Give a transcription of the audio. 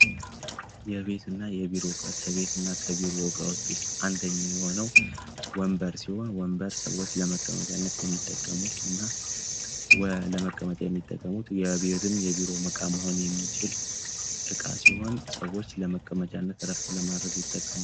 የቤት እና የ ቢሮ እቃ ከቤት እና ከቢሮ እቃዎች ዉስጥ አንደኛ የሆነው ወንበር ሲሆን ወንበር ሰዎች ለመከመጫነት የሚጠቀሙት እና ለቤትም ለ ቢሮም እቃ መሆን የሚችል እቃ ሲሆን ሰዎች ለመከምጫነት እረፍት ለማረግ ይጠቀሙበታል ።